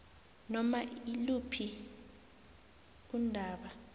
noma iluphi undaba